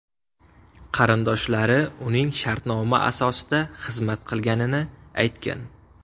Qarindoshlari uning shartnoma asosida xizmat qilganini aytgan.